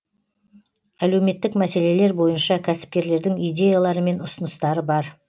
әлеуметтік мәселелер бойынша кәсіпкерлердің идеялары мен ұсыныстары бар